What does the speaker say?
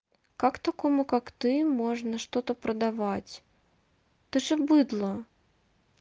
как такому как ты можно что-то продавать ты же быдло